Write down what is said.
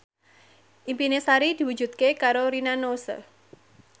impine Sari diwujudke karo Rina Nose